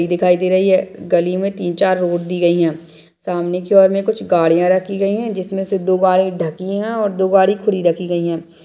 दिखाइ दे रही है गली में तीन-चार रोड दी गयी हैं सामनेे की ओर में कुछ गाड़ियां रखी गयी हैं जिसमें से दो गाड़ी ढकी हैं और दो गाड़ी खुली रखी गयी हैं।